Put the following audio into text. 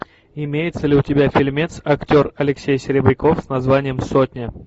имеется ли у тебя фильмец актер алексей серебряков с названием сотня